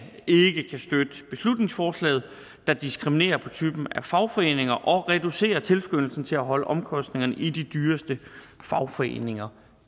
ikke kan støtte beslutningsforslaget der diskriminerer på typen af fagforeninger og reducerer tilskyndelsen til at holde omkostningerne i de dyreste fagforeninger